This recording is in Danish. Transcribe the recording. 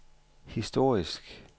historisk